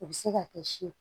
U bɛ se ka kɛ si ye